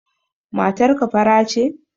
Matar ka fara ce?